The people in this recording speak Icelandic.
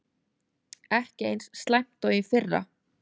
Ekki eins slæmt og í fyrra